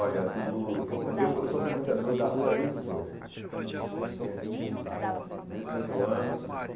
Olha, do eu eu sou frequentador da rua desde os oito, entende desde os oito anos.